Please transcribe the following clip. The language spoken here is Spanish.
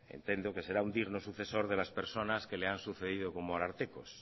entiendo que será un digno sucesor de las personas que le han sucedido como arartekos